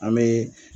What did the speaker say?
An bɛ